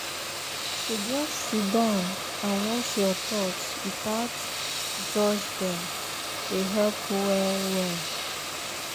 to just siddon and watch your thoughts without judge dem dey help well-well.